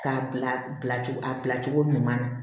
K'a bila a bilacogo ɲuman na